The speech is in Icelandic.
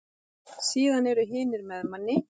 Síðan eru hinir með manni.